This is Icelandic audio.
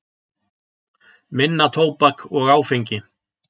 Minna tóbak og áfengi